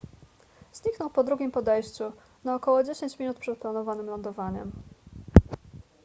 zniknął po drugim podejściu na około dziesięć minut przed planowanym lądowaniem